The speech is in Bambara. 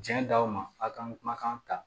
Diɲɛ d'aw ma f'a ka kumakan ta